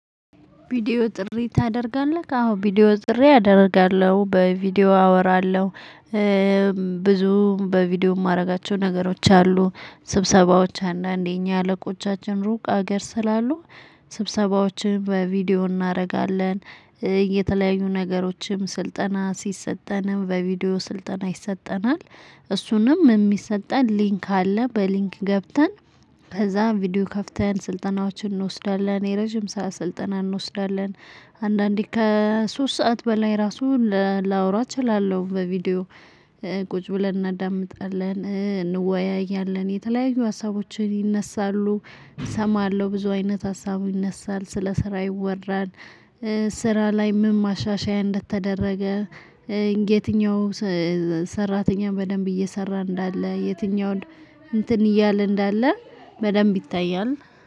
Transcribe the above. ቪዲዮ ጥሪ ታደርጋለህ አዎ ቪዲዮ ጥሪ አደርጋለሁ በቪዲዮ አወራለሁ። ብዙም በቪዲዮ የማደርጋቸው ነገሮች አሉ ስብሰባዎች አንዳንዴ እኛ አለቆቻችን ሩቅ አገር ስላሉ ስብሰባዎችን በቪዲዮ እናደርጋለን። የተለያዩ ነገሮችም ስልጠና ሲሰጠንም በቪዲዮ ስልጠና ይሰጠናል። እሱንም የሚሰጠን ሊንክ አለ በሊንክ ገብተን ከዛ ቪዲዮ ከፍተን ስልጠናዎችን እንወስዳለን። የረጅም ሰዓት ስልጠና እንወስዳለን አንዳንዴ ከሶስት ሰዓት በላይ ራሱ። ላወራ እችላለሁ በቪዲዮ ቁጭ ብለን እናዳምጣለን እንወያያለን የተለያዩ ሀሳቦችን ይነሳሉ። እሰማለሁ ብዙ አይነት ሀሳቡ ይነሳል ስለ ስራ ይወራል። ስራ ላይ ምን ማሻሻያ እንደተደረገ። የትኛው? ሰራተኛ በደንብ እየሰራ እንዳለ የትኛውን? እንትን እያለ እንዳለ በደንብ ይታያል።